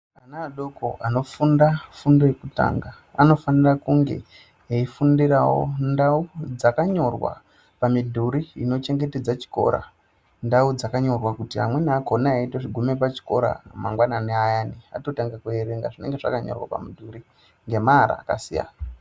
Ana adoko anofunda fundo yekutanga anofanira kunge eifundirawo ndau dzakanyorwa pamidhuri inochengetedza chikora. Ndau dzakanyorwa kuti amweni akhona eitoguma pachikora mangwanani ayana atotanga kuerenga zvinenge zvakanyorwa pamidhuri ngemaara akasiyana.